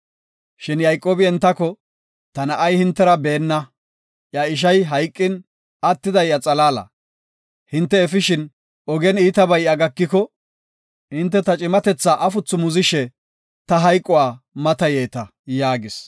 Shin Yayqoobi entako, “Ta na7ay hintera beenna; iya ishay hayqin, attiday iya xalaala. Hinte efishin, ogen iitabay iya gakiko, hinte ta cimatetha afuthu muzishe ta hayquwa matayeta” yaagis.